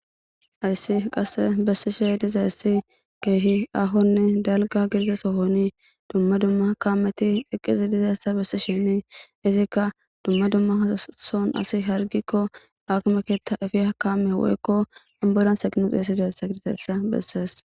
Ayssi qasse bessishe diza essi keehi ahonne dalga gidizesohoni dumma dumma kameti eqqizi dizayssa bessi sheni izikka dumma dumma ason asi hargikko akmeketta efi hakaame woykko anbolan seqinux eesides sakirteessa bessees.